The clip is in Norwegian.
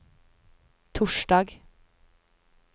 torsdag